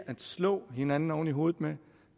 at slå hinanden oven i hovedet med